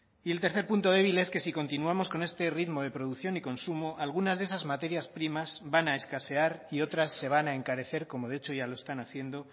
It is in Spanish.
y el tercer punto débil es que si continuamos con este ritmo de producción y consumo algunas de esas materias primas van a escasear y otras se van a encarecer como de hecho ya lo están haciendo